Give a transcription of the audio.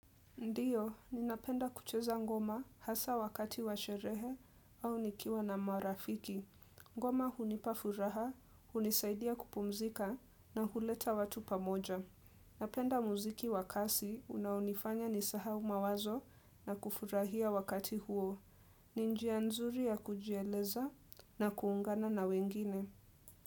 Ndiyo, ninapenda kucheza ngoma hasa wakati wa sherehe au nikiwa na marafiki. Ngoma hunipa furaha, hunisaidia kupumzika na huleta watu pamoja. Napenda muziki wa kasi, unaonifanya nisahau mawazo na kufurahia wakati huo. Ni njia nzuri ya kujieleza ya kuungana na wengine.